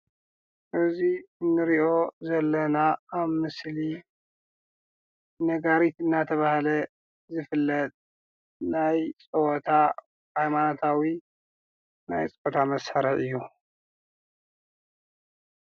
እዚ ንሪኦ ዘለና ኣብ ምስሊ ነጋሪት እናተብሃለ ዝፍለጥ ናይ ፀወታ ሃይማኖታዊ ናይ ፀወታ መሳርሒ እዪ ።